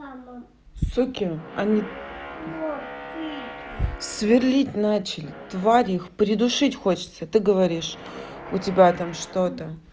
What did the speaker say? суки они сверлить начали твари их придушить хочется ты говоришь у тебя там что-то